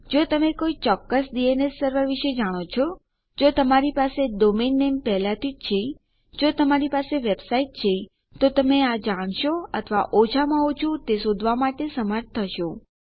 જો તમે કોઈ ચોક્કસ ડીએનએસ સર્વર વિશે જાણો છો જો તમારી પાસે ડોમેન નેમ પહેલાથી છે જો તમારી વેબસાઈટ છે તો તમે આ જાણશો અથવા ઓછામાં ઓછું તે શોધવા માટે સમર્થ થશો